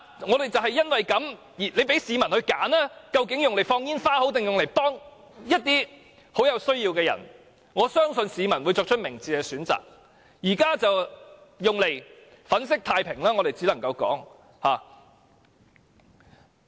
如果政府讓市民選擇，把這些金錢用作放煙花還是幫助一些極有需要的人士，我相信市民會作出明智的選擇，但現在卻只能說是把這些錢用作粉飾太平。